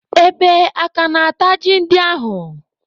Ebe aka na-ata ji ndị ahụ?